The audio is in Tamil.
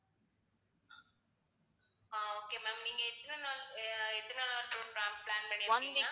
ஆஹ் okay ma'am நீங்க எத்தனை நாள் அஹ் எத்தனை நாளா tour pla~ plan பண்ணி இருக்கீங்க